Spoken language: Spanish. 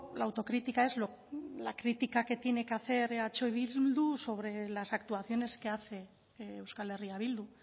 la autocrítica es la crítica que tiene que hacer eh bildu sobre las actuaciones que hace euskal herria bildu